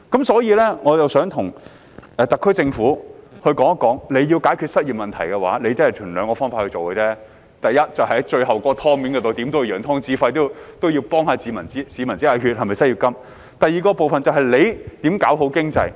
所以，我想告訴特區政府，如果要解決失業問題，便只能循兩個方法做：第一，就是關於眼前的"湯"，怎也要揚湯止沸，要為市民"止血"，推出失業金；第二，就是要做好經濟。